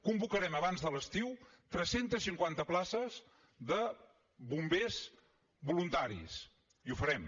convocarem abans de l’estiu tres cents i cinquanta places de bombers voluntaris i ho farem